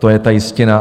To je ta jistina.